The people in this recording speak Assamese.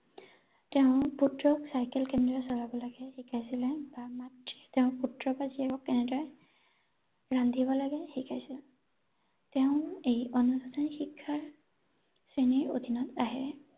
তেওঁৰ পুত্ৰক চাইকেল কেনেদৰে চলাব লাগে শিকাইছিলে বা মাকে তেওঁৰ পুত্ৰ বা জীয়েকক কেনেদৰে ৰান্ধিব লাগে শিকাইছিলে তেওঁ এই অনুষ্ঠানিক শিক্ষাৰ শ্ৰেণীৰ অধীনত আহে ৷